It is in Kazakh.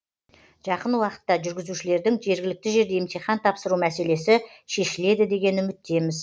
жақын уақытта жүргізушілердің жергілікті жерде емтихан тапсыру мәселесі шешіледі деген үміттеміз